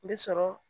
N bɛ sɔrɔ